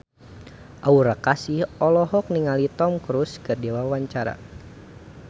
Aura Kasih olohok ningali Tom Cruise keur diwawancara